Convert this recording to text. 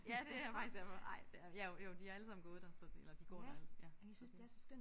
Ja det er faktisk derfor ej det er jo jo de har allesammen gået der så det eller de går der alle ja så det